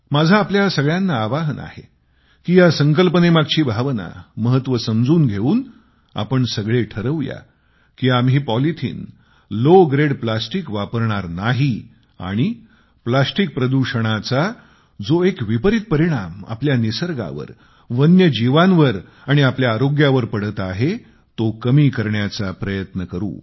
माझे आपल्या सगळ्यांना आवाहन आहे कि या संकल्पनेमागची भावना महत्त्व समजून घेऊन आपण सगळे ठरवू या की आम्ही पॉलिथिन लॉव ग्रेड प्लास्टिक वापरणार नाही आणि प्लास्टिक प्रदूषणाचा जो एक विपरीत परिणाम आपल्या निसर्गावर वन्यजीवांवर आणि आपल्या आरोग्यावर पडत आहे तो कमी करण्याचा प्रयत्न करू